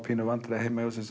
í vandræðum heima hjá sér